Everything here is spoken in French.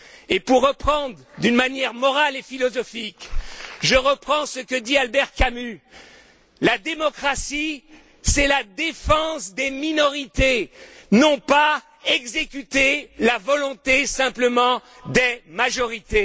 Et, pour reprendre d'une manière morale et philosophique, je reprends ce que dit Albert Camus La démocratie, c'est la défense des minorités, non pas exécuter la volonté simplement des majorités.